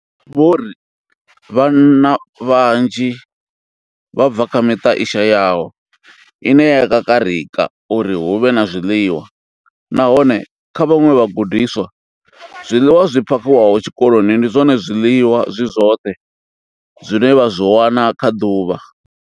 Vho ri vhana vhanzhi vha bva kha miṱa i shayaho ine ya kakarika uri hu vhe na zwiḽiwa, nahone kha vhaṅwe vhagudiswa, zwiḽiwa zwi phakhiwaho tshikoloni ndi zwone zwiḽiwa zwi zwoṱhe zwine vha zwi wana kha ḓuvha.